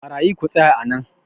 barayi ku tsaya a nan!